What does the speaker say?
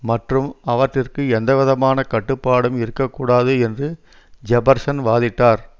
மற்றும் அவற்றிற்கு எந்தவிதமான கட்டுப்பாடும் இருக்க கூடாது என்று ஜெபர்சன் வாதிட்டார்